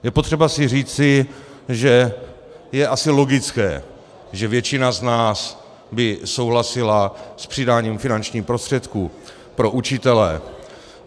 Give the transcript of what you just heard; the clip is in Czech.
Je potřeba si říci, že je asi logické, že většina z nás by souhlasila s přidáním finančních prostředků pro učitele.